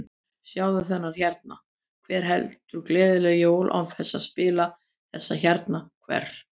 Sjáðu þennan hérna, hver heldur gleðileg jól án þess að spila þessa hérna, hver?